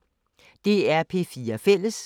DR P4 Fælles